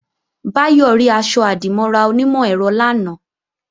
Báyọ̀ rí aṣọ-àdìmọ́ra onímọ̀-ẹ̀rọ lánàá